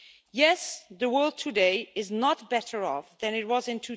Yes, the world today is not better off than it was in